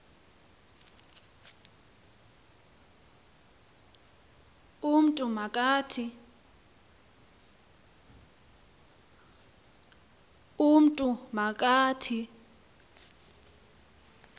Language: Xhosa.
umntu ma kathi